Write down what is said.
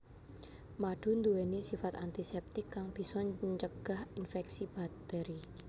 Madu nduweni sifat antiseptik kang bisa ncegah inféksi bakteri